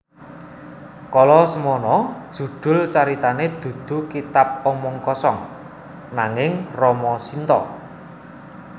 Kala samana judul caritané dudu Kitab Omong Kosong ananging Rama Shinta